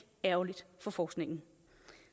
ærgerligt for forskningen